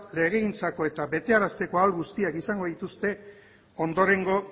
legegintzako eta betearazteko ahal guztiak izango dituzte ondorengo